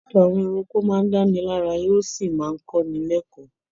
Ìtàn àwọn ẹranko máa ń dáni lárayá, ó sì máa ń kọ́ni lékọ̀ọ́.